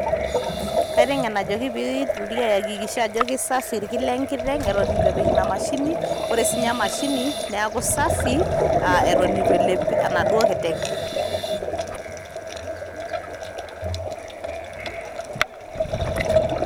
Kaiteng'en ajoki pitoki aakikisha ajo kisafi irki lenkiteng' eton itu epik inamashini, ore sinye emashini, neeku safi ah eton eitu elep enaduo kiteng'.